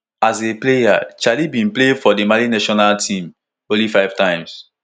as a player chelle bin play for di mali senior national team only five times